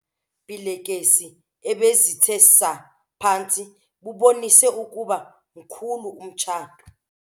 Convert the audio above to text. Ubusakazane beelekese ebezithe saa phantsi bubonise ukuba mkhulu umtshato.